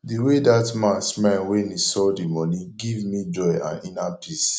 the way dat man smile wen he saw the money give me joy and inner peace